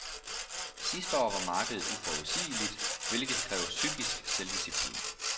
Sidste år var markedet uforudsigeligt, hvilket kræver psykisk selvdisciplin.